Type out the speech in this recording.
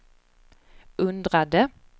undrade